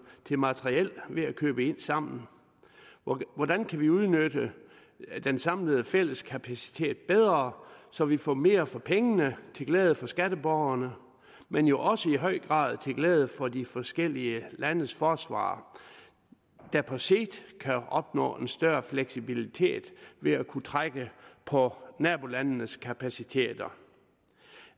til materiel ved at købe ind sammen hvordan kan vi udnytte den samlede fælles kapacitet bedre så vi får mere for pengene til glæde for skatteborgerne men jo også i høj grad til glæde for de forskellige landes forsvar der på sigt kan opnå en større fleksibilitet ved at kunne trække på nabolandenes kapaciteter